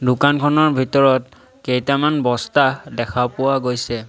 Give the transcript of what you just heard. দোকানখনৰ ভিতৰত কেইটামান বস্তা দেখা পোৱা গৈছে।